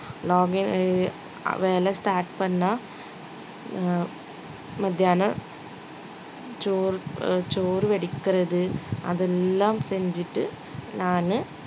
login வேலை start பண்ணா அஹ் மத்தியானம் சோர்~ சோறு வடிக்கிறது அதெல்லாம் செஞ்சிட்டு நானு